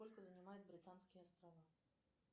сколько занимают британские острова